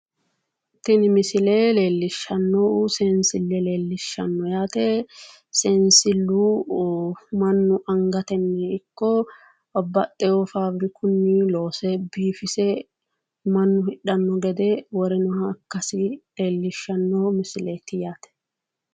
Tini misile leellishshannohu seensile leellishshanno yaate, seensillu mannu angatenni ikko babbaxxeewo faabirikunni loose biifise mannu hidhanno gede worinoha ikkasi leellishanno misileeti yaate.